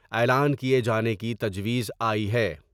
اعلان کیے جانے کی تجویز آئی ہے ۔